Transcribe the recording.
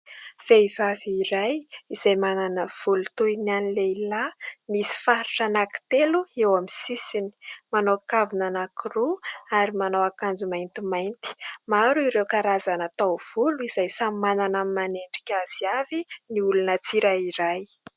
Vehivavy iray izay manana volo toy ny an'ny lehilahy, misy faritra anankitelo eo amin'ny sisiny. Manao kavina anankiroa ary manao akanjo maintimainty. Maro ireo karazana taovolo izay samy manana ny manendrika azy avy ny olona tsirairay.